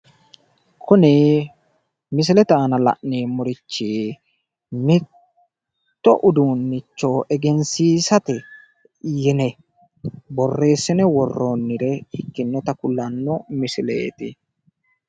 Kuni misilete aana la'nemorichi, mitto uduunnicho egensiisate yine borressine worroonire ikkinota kulanno misileeti